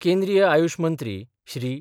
केंद्रीय आयुश मंत्री श्री.